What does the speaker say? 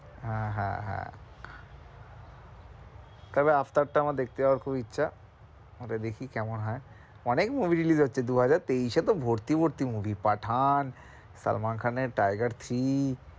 হ্যাঁ, হ্যাঁ, হ্যাঁ তবে আফটারটা আমার দেখতে যাওয়ার খুব ইচ্ছা ওটা দেখি কেমন হয় অনেক movies release হচ্ছে দু-হাজার এ তো ভর্তি ভর্তি movie পাঠান, সালমান খানের টাইগার থ্রী।